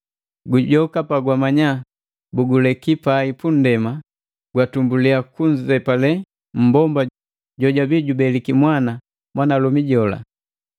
Gujoka palamanya bilileki pai pu nndema, latumbulia kunzepale mmbomba jojwabii jubeliki mwana mwanalomi jola.